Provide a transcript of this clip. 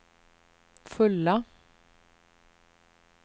fulla